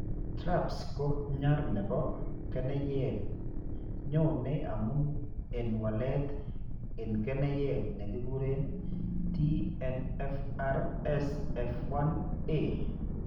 TRAPS ko nyar nebo keneyeek nyoone amun en walet en keneyeek ne kikuren TNFRSF1A.